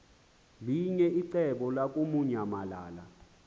linye icebo lamukunyamalala